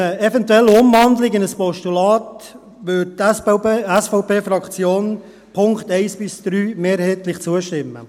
Bei einer eventuellen Umwandlung in ein Postulat würde die SVPFraktion den Punkten 1–3 mehrheitlich zustimmen.